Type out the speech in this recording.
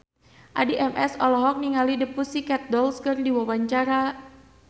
Addie MS olohok ningali The Pussycat Dolls keur diwawancara